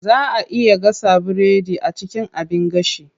Zaa a iya gasa biredi a cikin abin gashi.